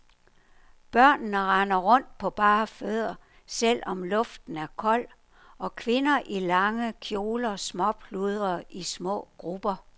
Børnene render rundt på bare fødder, selv om luften er kold, og kvinder i lange kjoler småpludrer i små grupper.